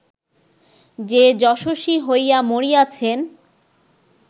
যে যশস্বী হইয়া মরিয়াছেন